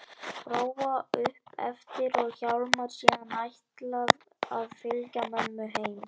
Bróa upp eftir og Hjálmar síðan ætlað að fylgja mömmu heim.